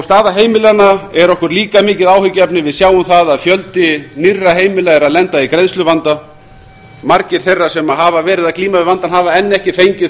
staða heimilanna er okkur líka mikið áhyggjuefni við sjáum það að fjöldi nýrra heimila er að lenda í greiðsluvanda margir þeirra sem hafa verið að glíma við vandann hafa enn ekki fengið